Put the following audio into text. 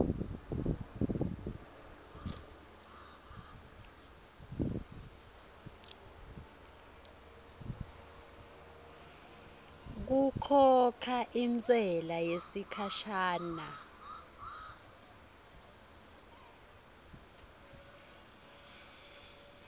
kukhokha intsela yesikhashana